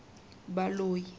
baloi